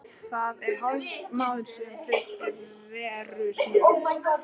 Það er hálfur mánuður síðan þeir reru síðast.